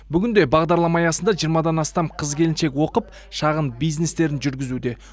бүгінде бағдарлама аясында жиырмадан астам қыз келіншек оқып шағын бизнестерін жүргізуде